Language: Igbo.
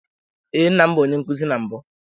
Ee, nna m bụ onye nkuzi na mbụ.